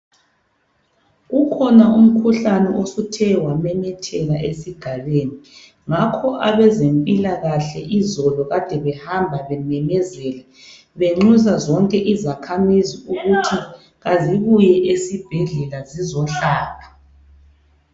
Ukhona umkhuhlane osuthe wamemetheka esigabeni ngakho abezempilakahle izolo kade behamba bememezela benxusa zonke izakhamizi ukuthi kazibuye esibhedlela zizohlatshwa.